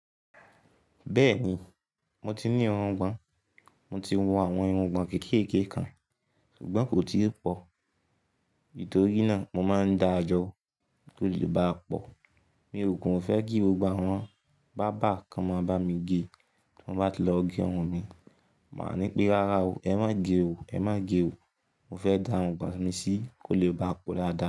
Bẹ́ẹ̀ni, mo ti ní irungbọ̀n, mo ti wu àwọn irungbọ̀n kékèké kan, ṣùgbọ́n kò tí pọ̀. Nítorí náà, mo máa ń dáa jọ kí ó lè bá pọ̀. Mi ò kin fẹ́ kí gbogbo àwọn, báábà kí wọ́n máa bámi ge tí mo bá ti lọ gé irun mi. Máá ní pé "ráárá o, ẹ má ge o, ẹ má ge o". Mo fẹ́ dá irungbọ̀n mi sí kí ó lè bá pọ̀ dáadáa.